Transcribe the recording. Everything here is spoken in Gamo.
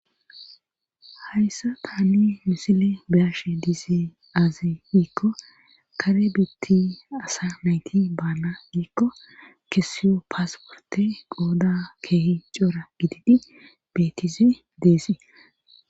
hayssa taani misile biyashe diize aazi giikko kare biitti asa nayti baana giikko kesiyo paasporte qooda keehi cora gididi betize deesee